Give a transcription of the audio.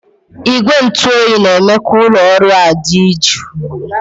Igwe ntụ oyi na-eme ka ụlọ ọrụ ahụ dị jụụ